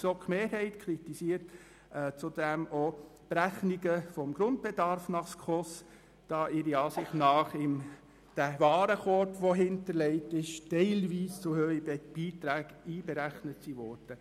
Die GSoK-Mehrheit kritisiert zudem auch Berechnungen des Grundbedarfs nach SKOS, da aufgrund des hinterlegten Warenkorbs teilweise zu hohe Beiträge einberechnet wurden.